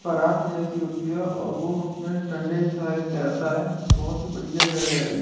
परात जैसी होती है और वो उसमे डंडे के सहारे तैरता है बहुत ही बढ़ियां जगह है ये।